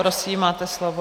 Prosím, máte slovo.